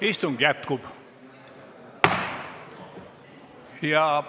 Istung jätkub.